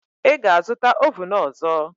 Ị ga-azụta ovun ọzọ.